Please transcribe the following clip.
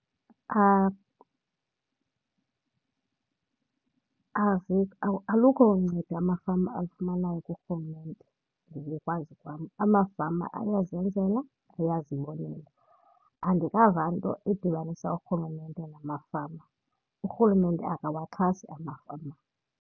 Alukho uncedo amafama alufumanayo kuRhulumente ngokokwazi kwam. Amafama ayazenzela, ayazibonela. Andikava nto idibanisa uRhulumente namafama, uRhulumente akawaxhasi amafama.